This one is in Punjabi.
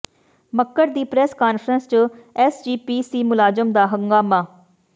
ਮੱਕੜ ਦੀ ਪ੍ਰੈਸ ਕਾਨਫਰੰਸ ਚ ਐਸ ਜੀ ਪੀ ਸੀ ਮੁਲਾਜਮ ਦਾ ਹੰਗਾਮਾ